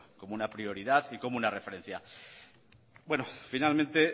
como una prioridad y como una referencia bueno finalmente